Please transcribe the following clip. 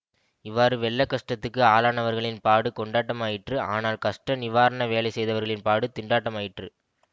இவ்வாறு வெள்ள கஷ்டத்துக்கு ஆளானவர்களின் பாடு கொண்டாட்டமாயிற்று ஆனால் கஷ்ட நிவாரண வேலை செய்தவர்களின் பாடு திண்டாட்டமாயிற்று